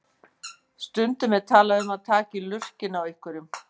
Stundum er talað um að taka í lurginn á einhverjum.